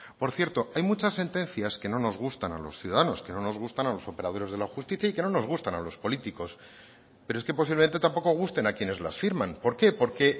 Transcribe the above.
por cierto hay muchas sentencias que no nos gustan a los ciudadanos que no nos gustan a los operadores de la justicia y que no nos gustan a los políticos pero es que posiblemente tampoco gusten a quienes las firman por qué porque